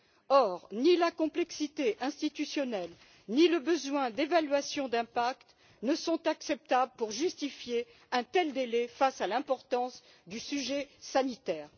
Or, ni la complexité institutionnelle, ni le besoin d'évaluation d'impact ne sont acceptables pour justifier un tel délai face à l'importance du sujet sanitaire.